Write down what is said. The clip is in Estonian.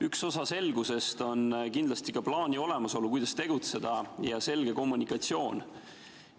Üks osa selgusest on kindlasti ka plaani olemasolu, kuidas tegutseda, ja selge kommunikatsioon.